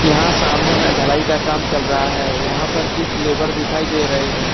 यहां सामने में ढलाई का काम चल रहा है यहां पर कुछ लेबर दिखाई दे रहे हैं।